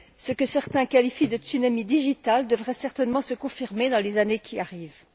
Ce que certains qualifient de tsunami digital devrait certainement se confirmer dans les années qui viennent.